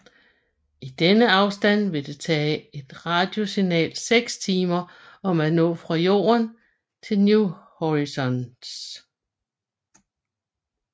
I denne afstand vil det tage et radiosignal 6 timer om at nå fra Jorden til New Horizons